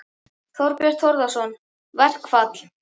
Þorbjörn Þórðarson: Verkfall?